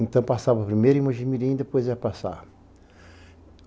Então passava primeiro em Mugimirim e depois ia passar.